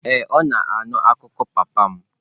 Ee, ọ na-anụ akụkọ papa m.